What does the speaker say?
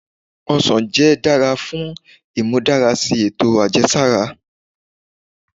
òsàn jẹ dara fun imudarasi eto ajẹsara.